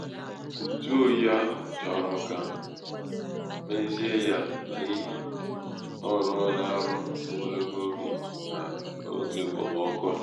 ntụ oyi ahụ chọrọ ka mezie ya n'ihi ọ rụọla ọrụ ogologo oge n'oge okpomọkụ a.